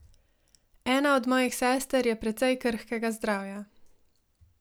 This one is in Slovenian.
Ena od mojih sester je precej krhkega zdravja.